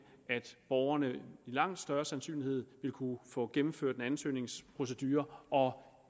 at borgerne med langt større sandsynlighed ville kunne få gennemført en ansøgningsprocedure og